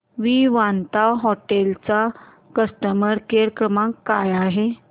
Vivanta hotel चा customer care क्रमांक काय आहे